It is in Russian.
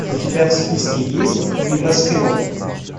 у тебя в списке есть небоскреб